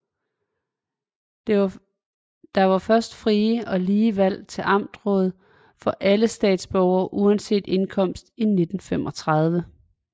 Der var først frie og lige valg til amtsråd for alle statsborgere uanset indkomst i 1935